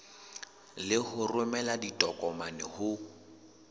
le ho romela ditokomane ho